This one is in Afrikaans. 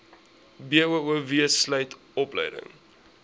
boov sluit opleiding